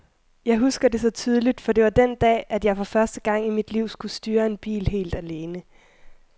Jeg husker det så tydeligt, for det var den dag, at jeg for første gang i mit liv skulle styre en bil helt alene.